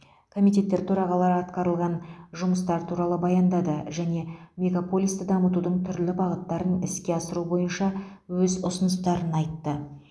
комитеттер төрағалары атқарылған жұмыстар туралы баяндады және мегаполисті дамытудың түрлі бағыттарын іске асыру бойынша өз ұсыныстарын айтты